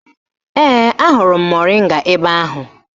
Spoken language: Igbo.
Ee, ahụrụ m moringa ebe ahụ